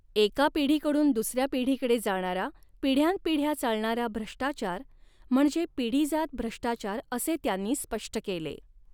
एका पिढीकडून दुसऱ्या पिढीकडे जाणारा, पिढयांनपीढ्या चालणारा भ्रष्टाचार म्हणजे पिढीजाद भ्रष्टाचार असे त्यांनी स्पष्ट केले.